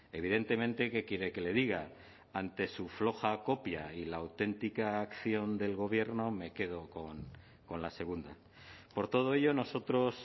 evidentemente qué quiere que le diga ante su floja copia y la auténtica acción del gobierno me quedo con la segunda por todo ello nosotros